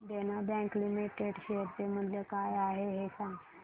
देना bank limited share चे मूल्य काय आहे हे सांगा